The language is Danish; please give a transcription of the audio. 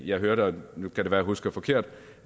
jeg hørte nu kan det være jeg husker forkert